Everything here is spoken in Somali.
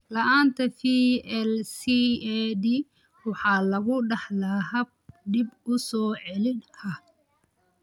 La'aanta VLCAD waxaa lagu dhaxlaa hab dib u soo celin ah.